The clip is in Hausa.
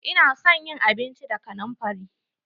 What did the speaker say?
Ina son yin abinci da kanamfari.